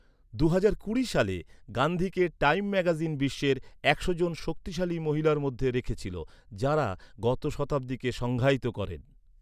দুহাজার কুড়ি সালে, গান্ধীকে টাইম ম্যাগাজিন বিশ্বের একশো জন শক্তিশালী মহিলার মধ্যে রেখেছিল, যাঁরা গত শতাব্দীকে সংজ্ঞায়িত করেন।